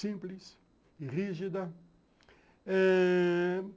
Simples e rígida eh...